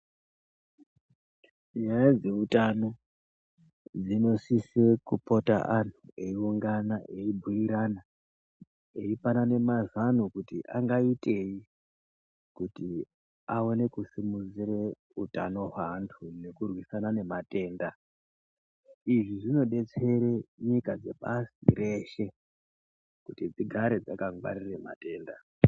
Nyaya dzeutano dzinosise kupota anhu eiungana eibhuirana eipanana mazano kuti angaitei kuti aone kusimudzire utano hwaantu nekurwisana nematenda. Izvi zvinodetsere nyika dzepasi reshe kuti dzigare dzakangwarire matenda.